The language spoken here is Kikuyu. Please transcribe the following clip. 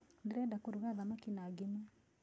Ndĩrenda kũruga thamaki na ngima.